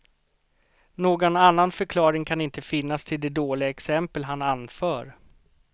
Någon annan förklaring kan inte finnas till de dåliga exempel han anför.